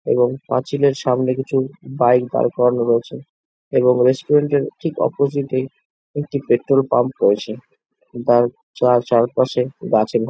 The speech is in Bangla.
এবং পাঁচিলের সামনে কিছু বাইক দাড় করানো রয়েছে এবং রেস্টুরেন্ট -এর ঠিক অপোজিট - এ একটি পেট্রোল পাম্প রয়েছে। যার যার চারপাশে গাছে ভরা